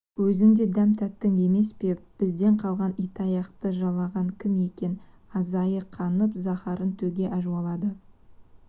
өзің де дәм таттың емес пе бізден қалған итаяқты жалаған кім екен айызы қанып заһарын төге әжуалады